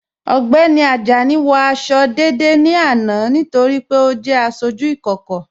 Ọgbẹ́ni Ajani wọ àṣọ̀ dédé ní àná nítorí pé ọ jẹ́ àṣọjú ìkókò.